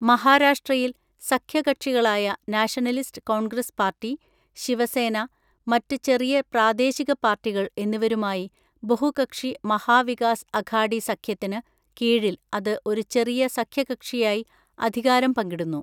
മഹാരാഷ്ട്രയിൽ, സഖ്യ കക്ഷികളായ നാഷണലിസ്റ്റ് കോൺഗ്രസ് പാർട്ടി, ശിവസേന, മറ്റ് ചെറിയ പ്രാദേശിക പാർട്ടികൾ എന്നിവരുമായി ബഹുകക്ഷി മഹാ വികാസ് അഘാഡി സഖ്യത്തിന് കീഴിൽ അത് ഒരു ചെറിയ സഖ്യകക്ഷിയായി അധികാരം പങ്കിടുന്നു.